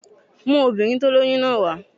Mú obìnrin tí ó lóyún náà wà